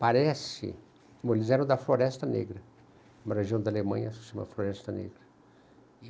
Parece... Eles eram da Floresta Negra, uma região da Alemanha que se chama Floresta Negra.